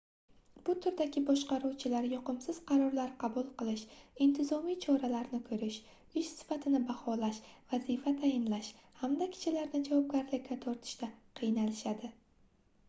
bu turdagi boshqaruvchilar yoqimsiz qarorlar qabul qilish intizomiy choralarni koʻrish ish sifatini baholash vazifa tayinlash hamda kishilarni javobgarlikka tortishda qiynalishadi